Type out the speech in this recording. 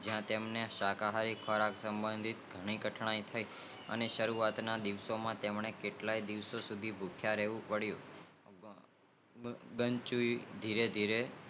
ત્યાં તેમને શાકાહારી ખોરાક સબંધિક અથઁનાય થાય અને સરુવાત માં કેટલાક દિવસો તે ભુખીયા રેહવું પડીઉં ધીરે ધીરે